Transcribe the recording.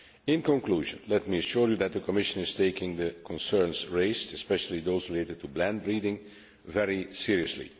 In conclusion, let me assure you that the Commission is taking the concerns raised especially those related to blend breeding very seriously.